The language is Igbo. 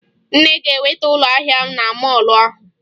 Nne ga-enweta ụlọ ahịa na mọọlụ ahụ